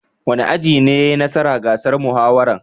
Wani aji ne ya yi nasara gasar muhawaran?